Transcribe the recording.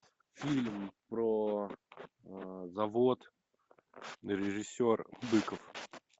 фильм про завод режиссер быков